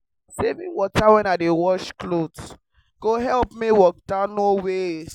saving water when i dey wash cloth go help make water no waste.